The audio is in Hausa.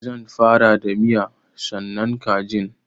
Zan fara da miya sannan kajin.